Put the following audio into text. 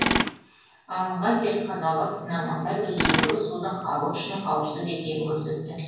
алынған зертханалық сынамалар өзендегі судың халық үшін қауіпсіз екенін көрсетті